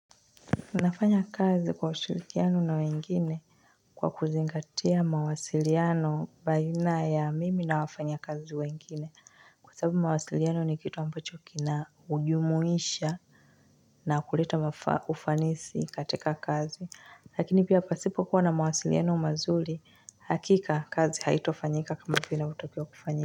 Nafanyakazi kwa ushirikiano na wengine kwa kuzingatia mawasiliano baina ya mimi na wafanyakazi wengine kwa sababu mawasiliano ni kitu ambacho kina ujumuisha na kuleta ufanisi katika kazi lakini pia pasipokuwa na mawasiliano mazuri hakika kazi haitafanyika kama vike matokeo kufanyika.